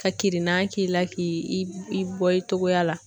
Ka kirinan k'i la k'i i bɔ i togoya la.